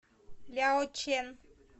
ляочэн